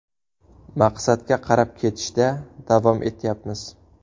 Maqsadga qarab ketishda davom etyapmiz.